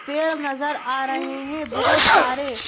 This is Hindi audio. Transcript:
पेड़ नजर आ रहे हैं बहुत सारे--